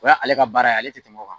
O y'a ale ka baara ye, ale tɛ tɛmɛ o kan.